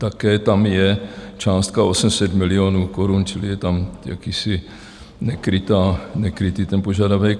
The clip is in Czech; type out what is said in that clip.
Také tam je částka 800 milionů korun, čili je tam jakýsi nekrytý ten požadavek.